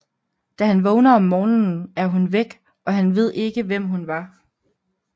Da han vågner om morgenen er hun væk og han ved ikke hvem hun var